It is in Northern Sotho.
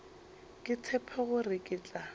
ke tshepe gore ke tla